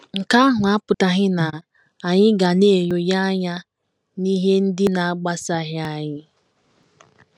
Nke ahụ apụtaghị na anyị ga na - enyonye anya n’ihe ndị na - agbasaghị anyị.